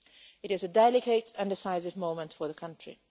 It is a delicate and decisive moment for the country.